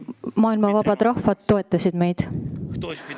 " Maailma vabad rahvad toetasid meid.